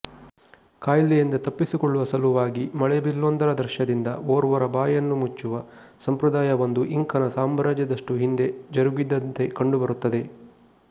ಕಾಯಿಲೆಯಿಂದ ತಪ್ಪಿಸಿಕೊಳ್ಳುವ ಸಲುವಾಗಿ ಮಳೆಬಿಲ್ಲೊಂದರ ದೃಶ್ಯದಿಂದ ಓರ್ವರ ಬಾಯಿಯನ್ನು ಮುಚ್ಚುವ ಸಂಪ್ರದಾಯವೊಂದು ಇಂಕನ ಸಾಮ್ರಾಜ್ಯದಷ್ಟು ಹಿಂದೆ ಜರುಗಿದ್ದಂತೆ ಕಂಡುಬರುತ್ತದೆ